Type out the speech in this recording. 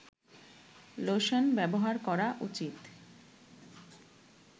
lotion ব্যবহার করা উচিৎ